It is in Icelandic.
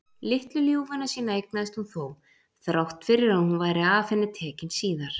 Litlu ljúfuna sína eignaðist hún þó, þrátt fyrir að hún væri af henni tekin síðar.